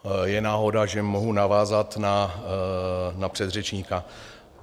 Je náhoda, že mohu navázat na předřečníka.